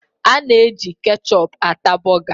A na-eji kechọpụ ata bọga.